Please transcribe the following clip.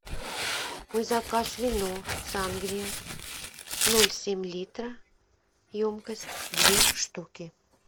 мой заказ вино сангрия ноль семь литра емкость две штуки